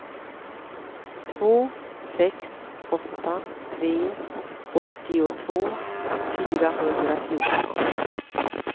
två sex åtta tre åttiotvå fyrahundrafjorton